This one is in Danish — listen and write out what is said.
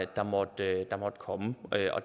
der måtte komme